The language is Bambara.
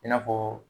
I n'a fɔ